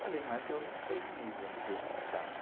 Falei, mas eu não tenho nível universitário.